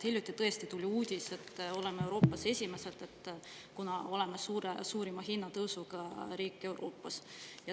Hiljuti tõesti tuli uudis, et oleme Euroopas esimesed, kuna oleme suurima hinnatõusuga riik Euroopas.